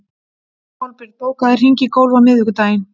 Kolbjörn, bókaðu hring í golf á miðvikudaginn.